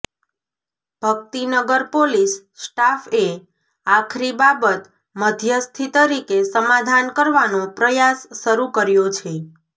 Bhaktinagar police સ્ટાફએ આખરી બાબત મધ્યસ્થી તરીકે સમાધાન કરવાનો પ્રયાસ શરૂ કર્યો છે